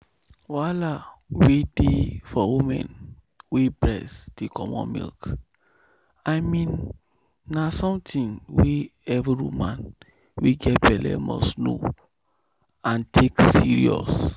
wahala wey dey for woman wey breast dey comot milk i mean na something wey every woman wey get belle must know and take serious.